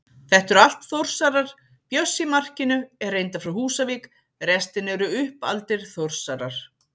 Þetta eru allt Þórsarar, Bjössi í markinu er reyndar frá Húsavík, restin eru uppaldir Þórsarar.